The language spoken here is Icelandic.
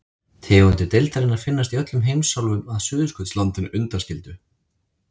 Tegundir deildarinnar finnast í öllum heimsálfum að Suðurskautslandinu undanskildu.